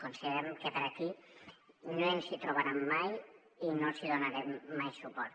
considerem que aquí no ens hi trobaran mai i no els hi donarem mai suport